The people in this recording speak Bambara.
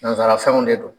Nanzara fɛnw de don